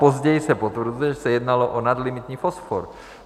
Později se potvrzuje, že se jednalo o nadlimitní fosfor.